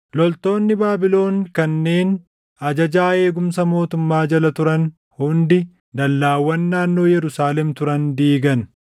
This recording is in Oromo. Loltoonni Baabilon kanneen ajajaa eegumsa mootummaa jala turan hundi dallaawwan naannoo Yerusaalem turan diigan.